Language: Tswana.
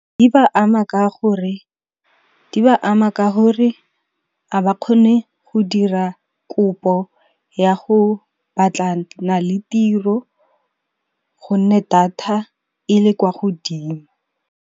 Di ba ama ka hore 'a ba kgone go dira kopo ya go batlana le tiro gonne data e le kwa godimo.